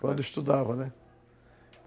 Quando eu estudava, né?